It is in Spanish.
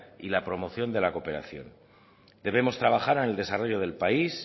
y la promoción de la cooperación debemos trabajar en el desarrollo del país